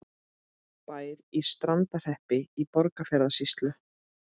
Bær í Strandarhreppi í Borgarfjarðarsýslu.